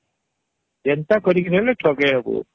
ଯେନ୍ତା କରି ହେଲେ ଠଗେଇବାକୁ